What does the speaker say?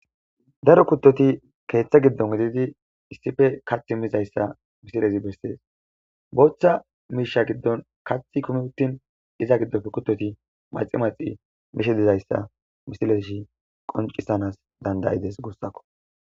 daro kuttoti keeththa giddon gididi issife kath mizayssa misilezi bessees booththa miisha giddon kath kumi uttin iza giddofe kuttoti maxi maxi mishe dizayssa misilezi qoncisanas danda'ides guussakko